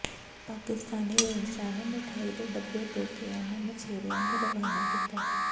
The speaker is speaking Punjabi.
ਪਾਕਿਸਤਾਨੀ ਰੇਂਜਰਾਂ ਨੇ ਮਠਿਆਈ ਦੇ ਡੱਬੇ ਦੇ ਕੇ ਇਨ੍ਹਾਂ ਮਛੇਰਿਆਂ ਨੂੰ ਰਵਾਨਾ ਕੀਤਾ